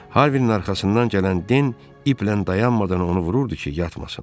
Harvinin arxasından gələn Den iplə dayanmadan onu vururdu ki, yatmasın.